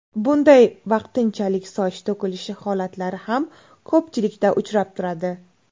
Bunday vaqtinchalik soch to‘kilishi holatlari ham ko‘pchilikda uchrab turadi.